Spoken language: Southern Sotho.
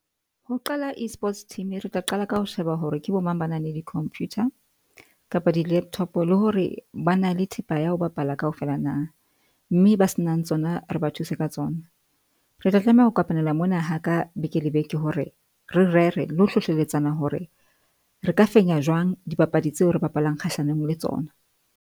Ho qala E-sports team, re tla qala ka ho sheba hore ke bo mang. Ba na le di computer kapa di-laptop le hore ba na le thepa ya ho bapala kaofela na. Mme ba se nang tsona re ba thuse ka tsona. Re tla tlameha ho kopanela mona ha ka beke le beke, hore re rere le ho hlohleletsa hore re ka fenya jwang dipapadi tseo re bapalang kgahlanong le tsona.